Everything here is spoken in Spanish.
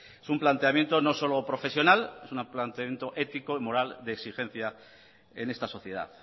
es un planteamiento no solo profesional es un planteamiento ético y moral de exigencia en esta sociedad